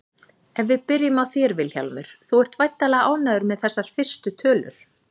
Ef við byrjum á þér Vilhjálmur, þú ert væntanlega ánægður með þessar fyrstu tölur?